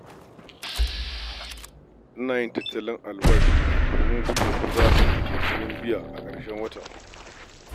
Ina yin tattalin albashina domin gudun ko za a samu jinkirin biya a ƙarshen wata.